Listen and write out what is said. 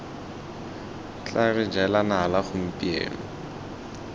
tla re jela nala gompieno